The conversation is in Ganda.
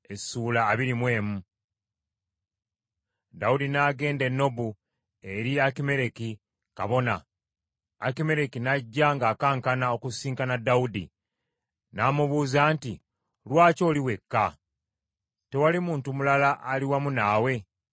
Dawudi n’agenda e Nobu eri Akimereki kabona. Akimereki n’ajja ng’akankana okusisinkana Dawudi, n’amubuuza nti, “Lwaki oli wekka? Tewali muntu mulala ali wamu naawe?”